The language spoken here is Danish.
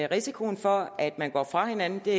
risikoen for at at gå fra hinanden det er